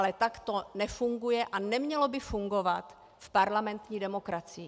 Ale tak to nefunguje a nemělo by fungovat v parlamentní demokracii.